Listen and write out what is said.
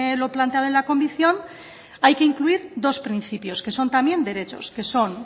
los planteado en la convención hay que incluir dos principios que son también derechos